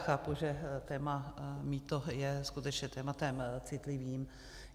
Chápu, že téma mýto je skutečně tématem citlivým.